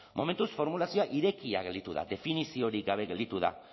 momentuz formulazioa irekia gelditu da definizio hori gabe gelditu da